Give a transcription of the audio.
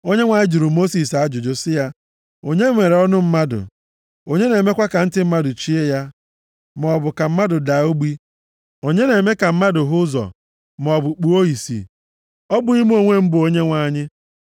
Onyenwe anyị jụrụ Mosis ajụjụ sị, “Onye mere ọnụ mmadụ? Onye na-emekwa ka ntị mmadụ chie ya, maọbụ ka mmadụ daa ogbi? Onye na-eme ka mmadụ hụ ụzọ, maọbụ kpụọ ìsì? Ọ bụghị mụ onwe m bụ Onyenwe anyị?